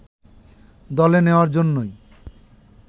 দলে নেয়ার জন্যই